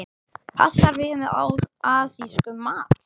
Passar vel með asískum mat.